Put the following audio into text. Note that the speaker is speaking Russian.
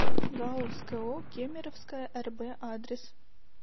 гауз ко кемеровская рб адрес